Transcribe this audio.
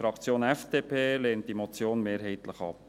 Die FDP-Fraktion lehnt diese Motion mehrheitlich ab.